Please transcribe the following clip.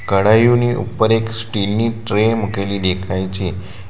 કળાયુની ઉપર એક સ્ટીલ ની ટ્રે મૂકેલી દેખાય છે.